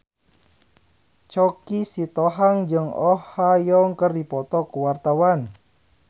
Choky Sitohang jeung Oh Ha Young keur dipoto ku wartawan